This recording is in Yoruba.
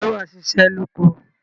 ǹjẹ́ wà á ṣiṣẹ́ lóko?